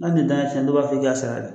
Na deli tɛ i n'a cɛ dɔw b'a fɔ i ka sara